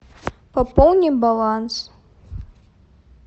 пополни баланс